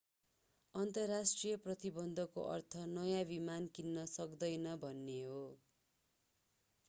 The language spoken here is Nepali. अन्तर्राष्ट्रिय प्रतिबन्धको अर्थ नयाँ विमान किन्न सकिँदैन भन्ने हो